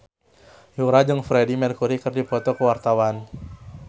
Yura jeung Freedie Mercury keur dipoto ku wartawan